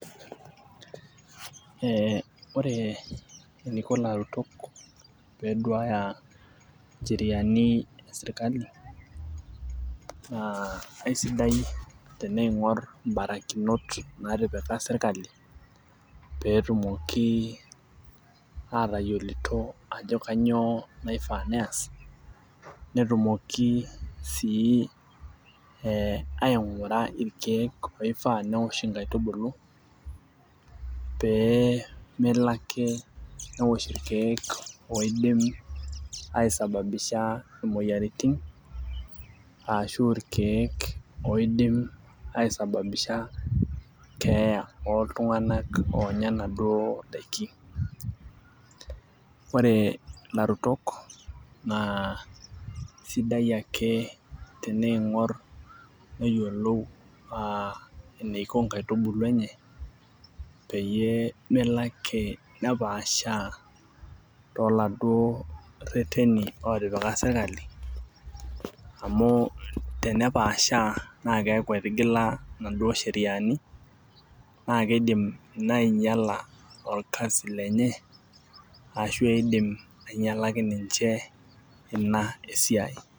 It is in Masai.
Oore eniko ilaturok pee eduaya incheriani e serkali, naa kaisidai teneing'oro imbarakinot natipika serkali, pee etumoki atayiolito aajo kanyio naifaa nias, netimoki sii aing'ura irkeek oyieu neosh inkatubulu, pee melo aake neosh irkeek oidim aisababisha imueyiaritin , arashu aa irkeek oidim aisababisha keeya oltung'anak oonya inaduo daiki. Oore ilaturok naa sidai aake neing'or neyiolou eneiko inkaitubulu eenye, peyie melo aake nepaashaa toladuo rereni lotipika serkali, amuu tenepaashaa naa kiaku etigila inaduo sheriani naa keidim iina ainyiala orkasi lenye arashu keidim inyialaki ninche iina esiai.